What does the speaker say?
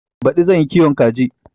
Baɗi zan yi kiwon kaji.